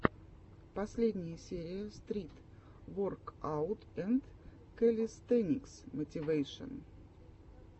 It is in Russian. последняя серия стрит воркаут энд кэлистэникс мотивэйшн